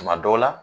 Tuma dɔw la